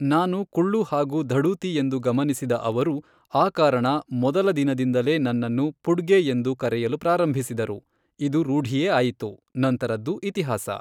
ನಾನು ಕುಳ್ಳು ಹಾಗೂ ಧಡೂತಿ ಎಂದು ಗಮನಿಸಿದ ಅವರು, ಆ ಕಾರಣ, ಮೊದಲ ದಿನದಿಂದಲೇ ನನ್ನನ್ನು 'ಪುಡ್ಗೆ' ಎಂದು ಕರೆಯಲು ಪ್ರಾರಂಭಿಸಿದರು, ಇದು ರೂಢಿಯೇ ಆಯಿತು, ನಂತರದ್ದು ಇತಿಹಾಸ.